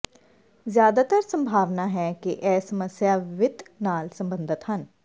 ਜ਼ਿਆਦਾਤਰ ਸੰਭਾਵਨਾ ਹੈ ਕਿ ਇਹ ਸਮੱਸਿਆ ਵਿੱਤ ਨਾਲ ਸਬੰਧਤ ਹਨ